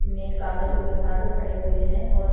ने कागजों के साथ खड़े हुए है और --